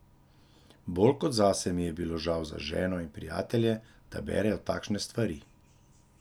Bolj kot zase mi je bilo žal za ženo in prijatelje, da berejo takšne stvari.